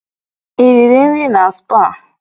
I riri nri na spaa?